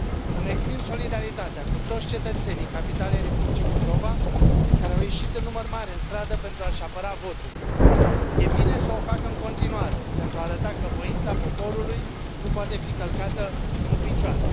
Îmi exprim solidaritatea cu toți cetățenii capitalei Republicii Moldova, care au ieșit în număr mare în stradă pentru a și apăra votul. E bine să o facă în continuare, pentru a arăta că voința poporului nu poate fi călcată în picioare.